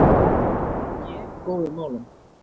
AG í góðum málum